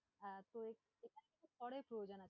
হ্যাঁ, তো খড়ের প্রয়োজন আছে।